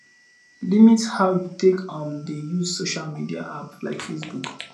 limit how you take um dey use social media app like facebook